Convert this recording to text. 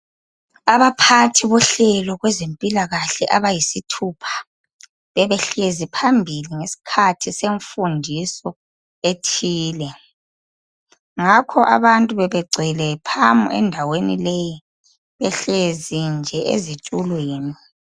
Abaphathi bohlobo lwezempilakahle abayisithupha bebehlezi phambili ngesikhathi semfundiso ethile ngakho abantu bebengcwele phamu endaweni leyi behlezi nje ezitulweni